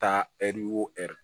Taa ɛri wori